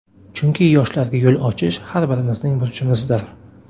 Chunki yoshlarga yo‘l ochish har birimizning burchimizdir.